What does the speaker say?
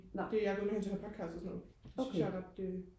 jeg er gået hen til at høre podcast og sådan noget det synes jeg er ret øh